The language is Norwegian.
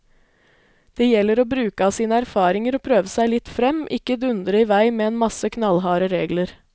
Det gjelder å bruke av sine erfaringer og prøve seg litt frem, ikke dundre i vei med en masse knallharde regler.